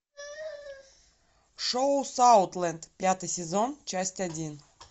шоу саутленд пятый сезон часть один